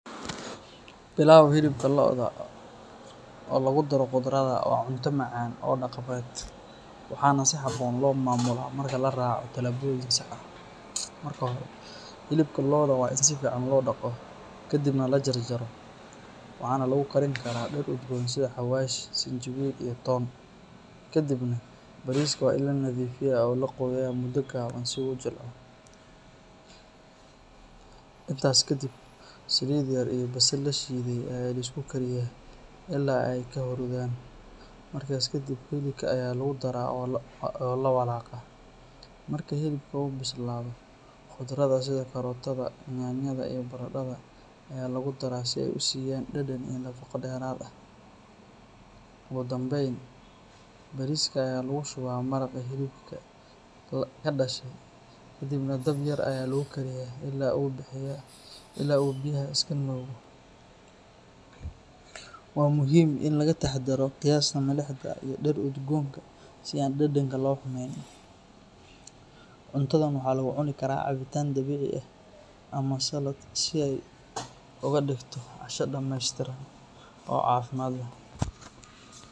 Pilau hilibka lo'da ah oo lagu daro khudradda waa cunto macaan oo dhaqameed, waxaana si habboon loo maamulaa marka la raaco talaabooyin sax ah. Marka hore, hilibka lo'da waa in si fiican loo dhaqo kadibna la jarjaro, waxaana lagu karin karaa dhir udgoon sida xawaash, sinjibiil, iyo toon. Kadibna, bariiska waa in la nadiifiyaa oo la qooyaa muddo gaaban si uu u jilco. Intaasi kadib, saliid yar iyo basal la shiiday ayaa la isku kariyaa ilaa ay ka huruudaan, markaas kadib hilibka ayaa lagu daraa oo la walaaqaa. Marka hilibka uu bislaado, khudradda sida karootada, yaanyada iyo baradhada ayaa lagu daraa si ay u siiyaan dhadhan iyo nafaqo dheeraad ah. Ugu dambayn, bariiska ayaa lagu shubaa maraqii hilibka ka dhashay kadibna dab yar ayaa lagu kariyaa ilaa uu biyaha iska nuugo. Waa muhiim in laga taxadaro qiyaasta milixda iyo dhir udgoonka si aan dhadhanka loo xumeyn. Cuntadan waxaa lagu cuni karaa cabitaan dabiici ah ama salad si ay uga dhigto casho dhameystiran oo caafimaad leh.